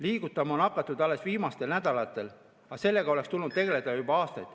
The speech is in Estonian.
Liigutama on hakatud alles viimastel nädalatel, aga sellega oleks tulnud tegeleda juba aastaid.